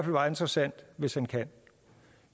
meget interessant hvis han kan